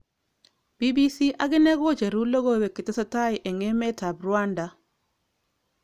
BBC akine kocheru lokowek chetesetai eng emet ab Rwanda.